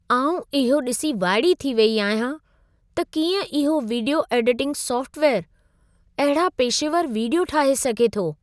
आउं इहो ॾिसी वाइड़ी थी वेई आहियां, त कीअं इहो वीडियो एडिटिंग सॉफ्टवेयरु अहिड़ा पेशेवर वीडियो ठाहे सघे थो।